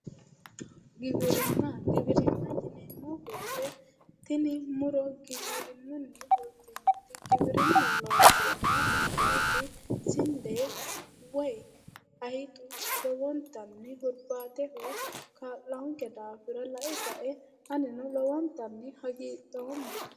Giwirinna. Giwirinna yineemmo woyite tini muro giwirinnunni fultinoti giwirinnu looseenna fultinoti sinde woyi hayixu lowontanni hurbaateho kaa'lannonke daafira lae kae anino lowontanni hagidhoomma.